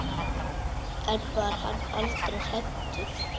En var hann aldrei hræddur?